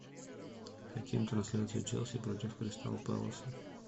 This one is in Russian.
хотим трансляцию челси против кристал пэласа